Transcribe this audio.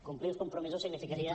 complir els compromisos significaria